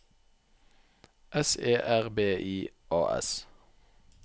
S E R B I A S